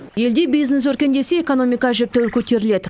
елде бизнес өркендесе экономика әжептәуір көтеріледі